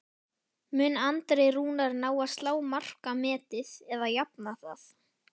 Mun Andri Rúnar ná að slá markametið eða jafna það?